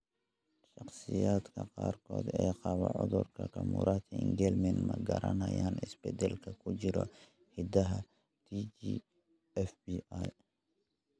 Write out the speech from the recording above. Shakhsiyaadka qaarkood ee qaba cudurka Camurati Engelmnan ma garanayaan isbeddellada ku jira hiddaha TGFB1.